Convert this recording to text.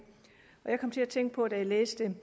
da jeg læste